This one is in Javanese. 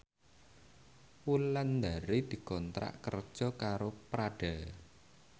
Wulandari dikontrak kerja karo Prada